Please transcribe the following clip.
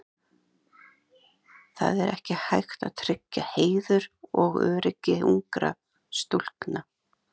Það er ekki hægt að tryggja heiður og öryggi ungra stúlkna.